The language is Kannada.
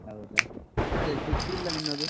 ಹೌದಾ? ಅದೇ ಸುದ್ದಿ ಇಲ್ಲ ನಿನ್ನದು.